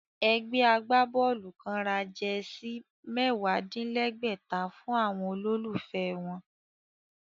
Ẹgbẹ́ agbábọ́ọ̀lù kán ra jẹsí mẹ́wàá-dín-lẹ́gbẹ̀ta fún àwọn olólùfẹ́ wọn